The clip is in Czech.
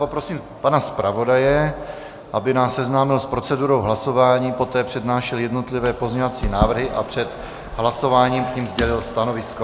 Poprosím pana zpravodaje, aby nás seznámil s procedurou hlasování, poté přednášel jednotlivé pozměňovací návrhy a před hlasováním k nim sdělil stanovisko.